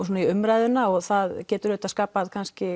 svona í umræðuna og það getur skapað kannski